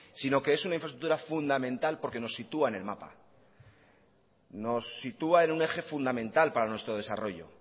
sino que es una infraestructura fundamental porque nos sitúa en el mapa nos sitúa en un eje fundamental para nuestro desarrollo